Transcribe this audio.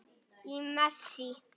Í messi.